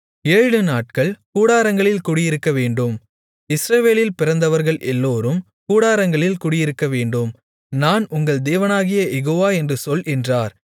ஏழுநாட்கள் கூடாரங்களில் குடியிருக்கவேண்டும் இஸ்ரவேலில் பிறந்தவர்கள் எல்லோரும் கூடாரங்களில் குடியிருக்கவேண்டும் நான் உங்கள் தேவனாகிய யெகோவா என்று சொல் என்றார்